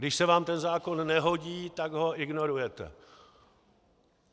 Když se vám ten zákon nehodí, tak ho ignorujete.